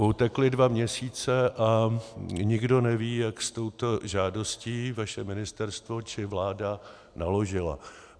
Utekly dva měsíce a nikdo neví, jak s touto žádostí vaše ministerstvo či vláda naložily.